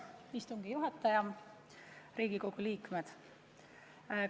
Lugupeetud istungi juhataja ja Riigikogu liikmed!